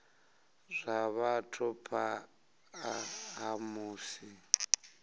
zwa vhathu phanḓa ha musi